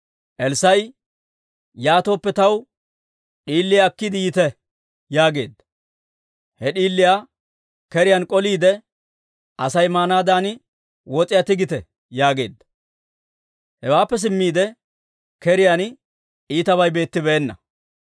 Elssaa'i, «Yaatooppe taw d'iiliyaa akkiide yiite» yaageedda. He d'iiliyaa keriyaan k'oliide, «Asay maanaadan wos'iyaa tigite» yaageedda. Hewaappe simmiide, keriyaan iitabay beettibeenna.